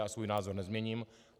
A svůj názor nezměním.